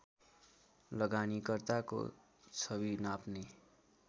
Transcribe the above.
लगानीकर्ताको छवि नाप्ने